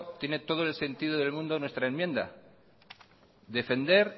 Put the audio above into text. tiene todo el sentido del mundo nuestra enmienda defender